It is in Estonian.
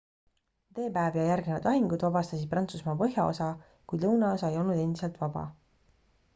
d-päev ja järgnevad lahingud vabastasid prantsusmaa põhjaosa kuid lõunaosa ei olnud endiselt vaba